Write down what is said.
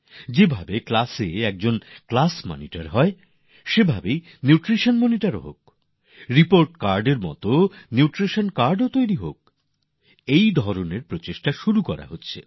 যেমন ক্লাসএ একজন ক্লাস মনিটর হয় রিপোর্ট কার্ড এর জায়গায় নিউট্রিশন কার্ডও বানানো হোক এই রকম ব্যবস্থা চালু করা হচ্ছে